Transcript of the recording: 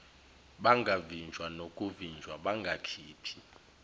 bangavinjwa nokuvinjwa bangakhiphi